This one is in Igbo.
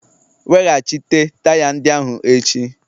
Weghachite taya ndị ahụ echi!